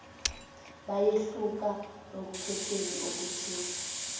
bayehluka ekukhetheni okuthile